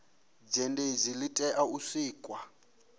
zhenedzi li tea u sikwa